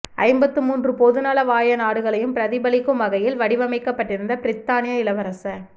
ஐம்பத்து மூன்று பொதுநலவாய நாடுகளையும் பிரதிபலிக்கும் வகையில் வடிவமைக்கப்பட்டிருந்த பிரித்தானிய இளவரச